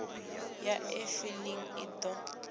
ya e filing i ḓo